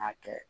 K'a kɛ